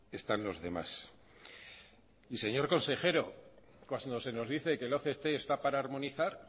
están los demás y señor consejero cuando se nos dice que el oct está para armonizar